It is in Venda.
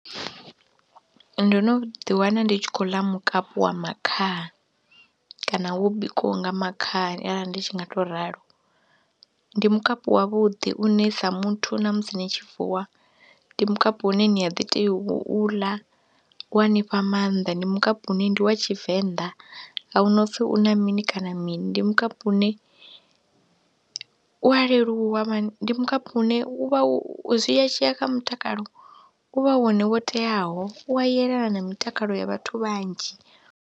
Ndo no ḓiwana ndi tshi khou ḽa mukapu wa makhaha kana wo bikiwaho nga makhaha, arali ndi tshi nga tou ralo. Ndi mukapu wavhuḓi une sa muthu na musi ni tshi vuwa ndi mukapu une ni a ḓi tea u u ḽa wa ni fha maanḓa. Ndi mukapu une ndi wa Tshivenḓa a hu na u pfhi u na mini kana mini, ndi mukapu une wa leluwa mani, ndi mukapu une u vha u zwi a tshi ya kha mutakalo u vha wone wo teaho, u ya yelana na mitakalo ya vhathu vhanzhi.